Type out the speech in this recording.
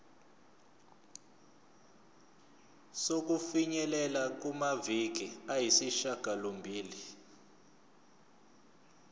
sokufinyelela kumaviki ayisishagalombili